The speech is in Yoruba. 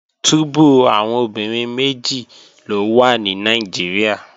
Túbú àwọn obìnrin méjì ló wà ní Nàìjíríà